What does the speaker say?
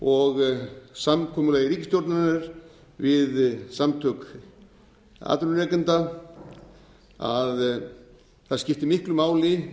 og samkomulagi ríkisstjórnarinnar við samtök atvinnurekenda að það skipti miklu máli